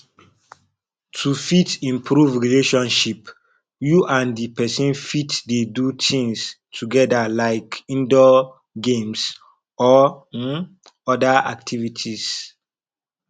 to fit improve relationship you and di person fit dey do things together like indoor games or um oda activities